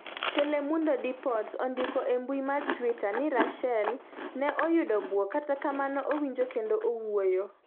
Telemundo Deportes ondiko e mbui mar Twitter ni Ruschel ne oyudo buok kata kamano owinjo kendo owuoyo.